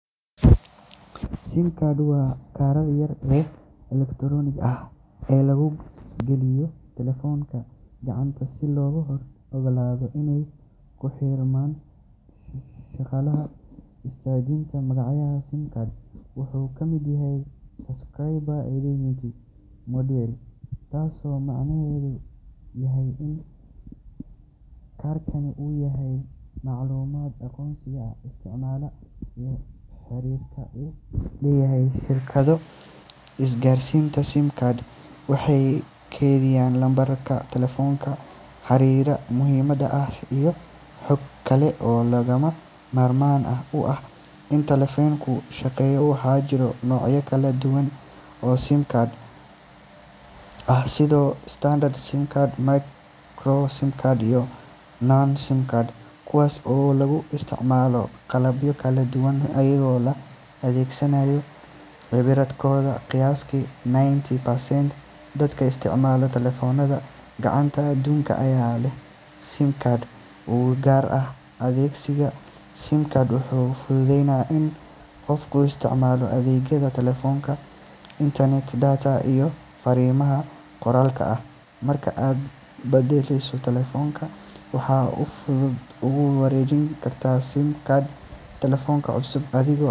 SIM card waa kaarka yar ee elektaroonigga ah ee lagu geliyo taleefannada gacanta si loogu oggolaado inay ku xirmaan shabakadaha isgaarsiinta. Magaca SIM wuxuu ka yimid Subscriber Identity Module, taasoo macnaheedu yahay in kaarkani uu kaydiyaa macluumaadka aqoonsiga isticmaalah iyo xiriirka uu la leeyahay shirkadda isgaarsiinta. SIM cards waxay kaydiyaan lambarka taleefanka, xiriirada muhiimka ah, iyo xog kale oo lagama maarmaan u ah in taleefanku shaqeeyo. Waxaa jira noocyo kala duwan oo SIM cards ah sida standard SIM, micro SIM, iyo nano SIM, kuwaas oo lagu isticmaalo qalabyo kala duwan iyadoo la eegayo cabirkooda. Qiyaastii ninety percent dadka isticmaala taleefannada gacanta adduunka ayaa leh SIM card u gaar ah. Adeegsiga SIM card wuxuu fududeeyaa in qofku isticmaalo adeegyada taleefanka, internet data, iyo fariimaha qoraalka ah. Marka aad beddesho taleefan, waxaad si fudud ugu wareejin kartaa SIM card taleefan cusub adigoo.